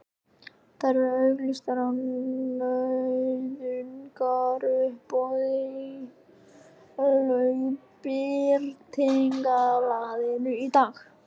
Þær eru auglýstar á nauðungaruppboði í Lögbirtingablaðinu í dag!